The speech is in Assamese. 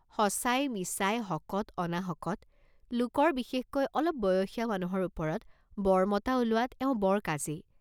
সঁচাই মিছাই, হকত অনাহকত, লোকৰ বিশেষকৈ অলপ বয়সীয়া মানুহৰ ওপৰত বৰ মতা ওলোৱাত এওঁ বৰ কাজী।